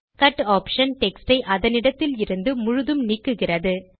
cut option text யை அதனிடத்தில் இருந்து முழுதும் நீக்குகிறது